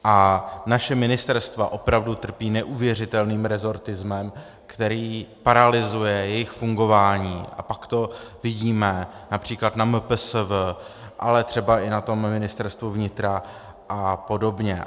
A naše ministerstva opravdu trpí neuvěřitelným rezortismem, který paralyzuje jejich fungování, a pak to vidíme například na MPSV, ale třeba i na tom Ministerstvu vnitra a podobně.